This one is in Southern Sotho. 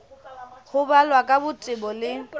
ho balwa ka botebo le